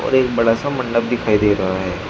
और एक बड़ा सा मंडप दिखाई दे रहा है।